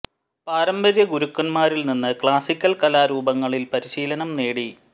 പാരമ്പര്യ ഗുരുക്കന്മാരിൽ നിന്ന് ക്ലാസിക്കൽ കലാ രൂപങ്ങളിൽ പരിശീലനം നേടി